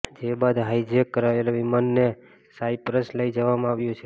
જે બાદ હાઈજેક કરાયેલા વિમાનને સાઈપ્રસ લઈ જવામાં આવ્યું છે